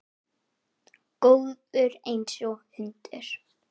Góður einsog hundur.